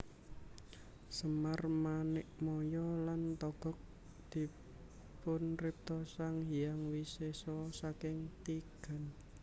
Semar Manikmaya lan Togog dipunripta Sang Hyang Wisesa saking tigan